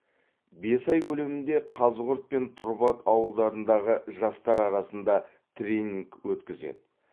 бес ай көлемінде қазығұрт пен тұрбат ауылдарындағы жастар арасында тренинг өткізеді